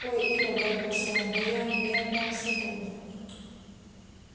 ой ир обрадовался он да я да я прямо сегодня